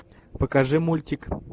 покажи мультик